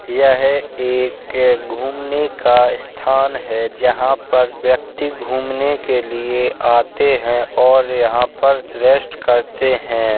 यह है एक घूमने का स्थान है जहाँ पर व्यक्ति घूमने के लिए आते है और यहां पर रेस्ट करते है।